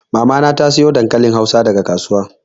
Mama na ta sayo dankalin hausa daga kasuwa.